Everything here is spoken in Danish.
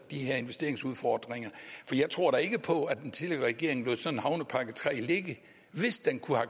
her investeringsudfordringer for jeg tror da ikke på at den tidligere regering lod sådan en havnepakke iii ligge hvis den kunne